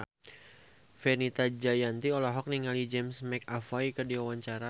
Fenita Jayanti olohok ningali James McAvoy keur diwawancara